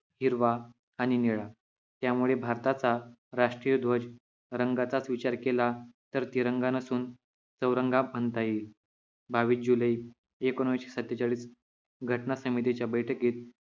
हिरवा आणि निळा यामुळे भारताचा राष्ट्रीय ध्वज रंगाचाच विचार केला तर तिरंगा नसून चौरंगा म्हणता येईल बावीस जुलै एकोणीशे सत्तेचाळीस घटनासमितीच्या बैठकीत